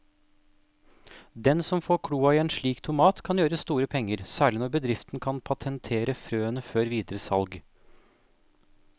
Den som får kloa i en slik tomat kan gjøre store penger, særlig når bedriften kan patentere frøene før videre salg.